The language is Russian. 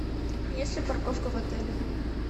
есть ли парковка в отеле